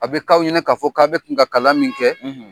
A bi k'aw ɲɛna ka fɔ k'aw bɛ kan ka kala min kɛ